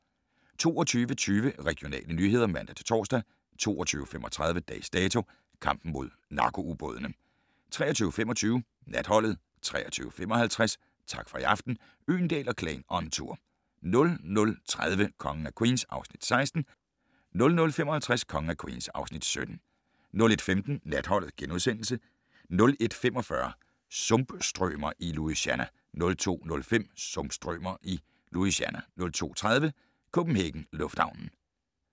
22:20: Regionale nyheder (man-tor) 22:35: Dags Dato: Kampen mod narko-ubådene 23:25: Natholdet 23:55: Tak for i aften - Øgendahl & Klan on tour 00:30: Kongen af Queens (Afs. 16) 00:55: Kongen af Queens (Afs. 17) 01:15: Natholdet * 01:45: Sumpstrømer i Louisiana 02:05: Sumpstrømer i Louisiana 02:30: CPH Lufthavnen